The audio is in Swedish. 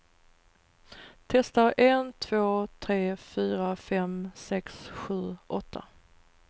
Testar en två tre fyra fem sex sju åtta.